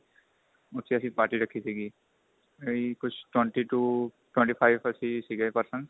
ਉੱਥੇ ਅਸੀਂ party ਰੱਖੀ ਸੀਗੀ ਇਹੀ ਕੁੱਝ twenty to twenty five ਅਸੀ ਸੀਗੇ person